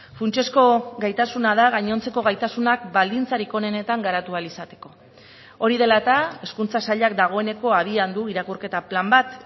funtsezko gaitasuna da gainontzeko gaitasunak baldintzarik onenetan garatu ahal izateko hori dela eta hezkuntza sailak dagoeneko abian du irakurketa plan bat